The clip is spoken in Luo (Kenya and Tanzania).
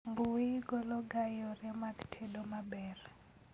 Mbui golo ga yore mag tedo maber